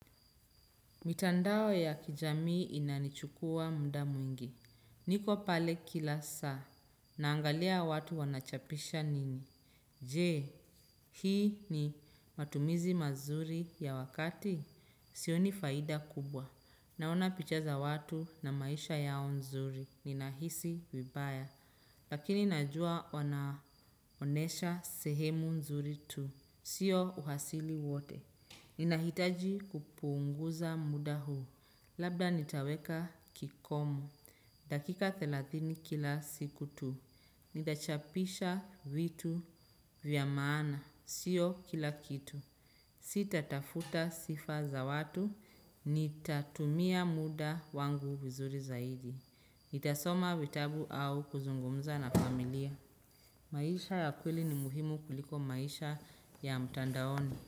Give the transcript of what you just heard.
Mitandao ya kijamii inanichukua mda mwingi. Niko pale kila saa. Naangalia watu wanachapisha nini. Je, hii ni matumizi mazuri ya wakati. Sioni faida kubwa. Naona picha za watu na maisha yao nzuri. Ninahisi vibaya. Lakini najua wanaonesha sehemu nzuri tu. Sio uhasili wote. Ninahitaji kupuunguza muda huu. Labda nitaweka kikomo. Dakika thelathini kila siku tu. Nita chapisha vitu vya maana. Sio kila kitu. Sita tafuta sifa za watu. Nitatumia muda wangu vizuri zaidi. Nitasoma vitabu au kuzungumza na familia. Maisha ya kweli ni muhimu kuliko maisha ya mtandaoni.